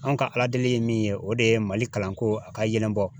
An ka Ala deli ye min ye, o de ye mali kalanko a ka yɛlɛ bɔ .